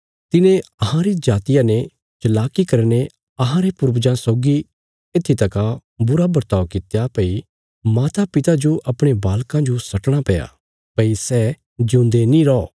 तिने अहांरी जातिया ने चलाकी करीने अहांरे पूर्वजां सौगी येत्थी तका बुरा वर्ताव कित्या भई मातापिता जो अपणे बालकां जो सट्टणा पैया भई सै ज्यूंदे नीं रौ